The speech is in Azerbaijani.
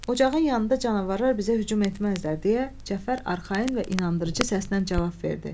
Ocağın yanında canavarlar bizə hücum etməzlər, deyə Cəfər arxayın və inandırıcı səslə cavab verdi.